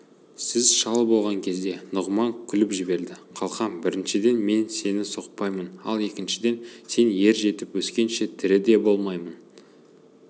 сіз шал болған кезде нұғыман күліп жіберді қалқам біріншіден мен сені соқпаймын ал екіншіден сен ер жетіп өскенше тірі де болмаймын